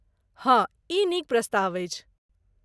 हाँ, ई नीक प्रस्ताव अछि।